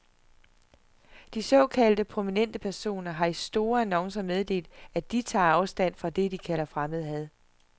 De såkaldt prominente personer har i store annoncer meddelt, at de tager afstand fra det, de kalder fremmedhad.